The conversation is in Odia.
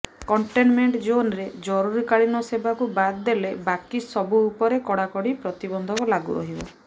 କଣ୍ଟେନମେଣ୍ଟ ଜୋନ୍ରେ ଜରୁରୀକାଳୀନ ସେବାକୁ ବାଦ୍ ଦେଲେ ବାକି ସବୁ ଉପରେ କଡାକଡି ପ୍ରତିବନ୍ଧକ ଲାଗୁ ରହିବ